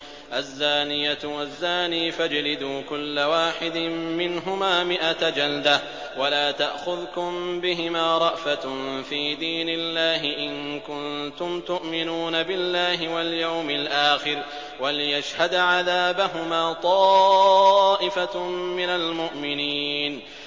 الزَّانِيَةُ وَالزَّانِي فَاجْلِدُوا كُلَّ وَاحِدٍ مِّنْهُمَا مِائَةَ جَلْدَةٍ ۖ وَلَا تَأْخُذْكُم بِهِمَا رَأْفَةٌ فِي دِينِ اللَّهِ إِن كُنتُمْ تُؤْمِنُونَ بِاللَّهِ وَالْيَوْمِ الْآخِرِ ۖ وَلْيَشْهَدْ عَذَابَهُمَا طَائِفَةٌ مِّنَ الْمُؤْمِنِينَ